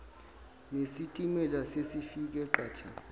nesitimela sesifike qatha